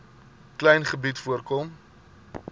klein gebied voorkom